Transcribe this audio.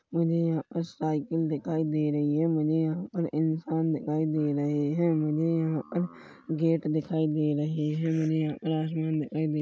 मझे यहाँ पर साइकिल दिखाई दे रही हैं मुझे यहाँ पर इंसान दिखाई दे रहे हैं मुझे यहाँ पर गेट दिखाई दे रहे हैं मुझे यहाँ पर आसमान दिखाई दे--